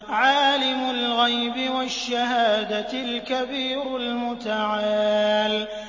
عَالِمُ الْغَيْبِ وَالشَّهَادَةِ الْكَبِيرُ الْمُتَعَالِ